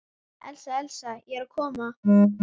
Elísa, Elísa, ég er að koma